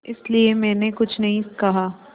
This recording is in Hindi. इसलिए मैंने कुछ नहीं कहा